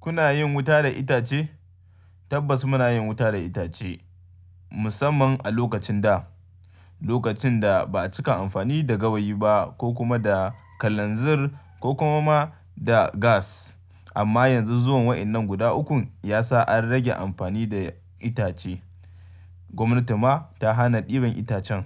Kuna yin wuta da itace? Tabbas muna yin wuta da itace, musamman a lokacin da, lokacin da ba a cika amfani da gawayi ba ko kuma da kalanzir ko kuma ma da gas. Amma yanzu zuwan waɗannan guda ukun ya sa an rage amfani da itace. Gwamnati ma ta hana ɗiban itacen.